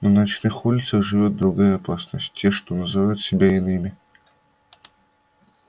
на ночных улицах живёт другая опасность те что называют себя иными